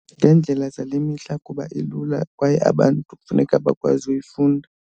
Ngeendlela zale mihla kuba ilula kwaye abantu funeka bakwazi uyifunda.